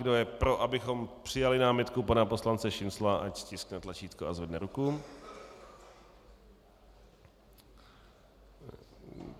Kdo je pro, abychom přijali námitku pana poslance Šincla, ať stiskne tlačítko a zvedne ruku.